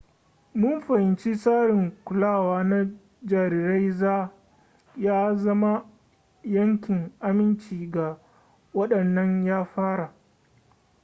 mun fahimci tsarin kulawa na jarirai ya zama yankin aminci ga waɗannan yara